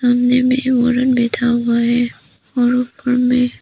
सामने में औरत बैठा हुआ है और ऊपर में --